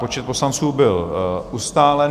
Počet poslanců byl ustálen.